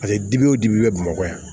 Paseke dibi o dibi bɛ bamakɔ yan